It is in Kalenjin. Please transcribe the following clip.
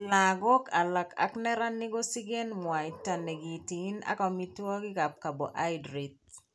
Lagok alak ak neranik kosikeen mwaita nekiteen ak omitwogik ab carbohydrate